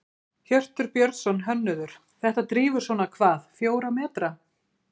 Hjörtur Björnsson, hönnuður: Þetta drífur svona hvað, fjóra metra?